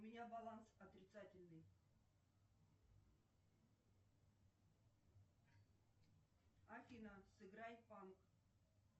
у меня баланс отрицательный афина сыграй панк